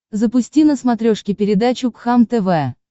запусти на смотрешке передачу кхлм тв